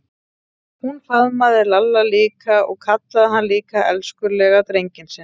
Hún faðmaði Lalla líka og kallaði hann líka elskulega drenginn sinn.